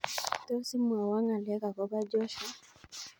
Tos imwowon ngalek agobo Joshua